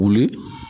Wuli